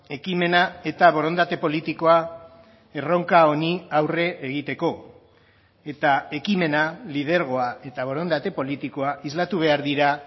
ekimena eta borondate politikoa erronka honi aurre egiteko eta ekimena lidergoa eta borondate politikoa islatu behar dira